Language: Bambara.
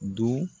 Don